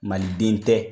Maliden tɛ